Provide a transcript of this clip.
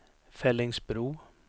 Fellingsbro